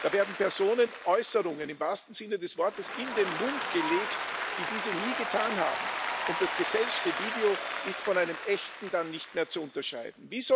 Da werden Personen Äußerungen im wahrsten Sinne des Wortes in den Mund gelegt, die diese nie getan haben, und das gefälschte Video ist von einem echten dann nicht mehr zu unterscheiden.